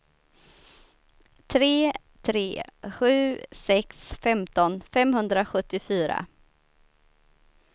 tre tre sju sex femton femhundrasjuttiofyra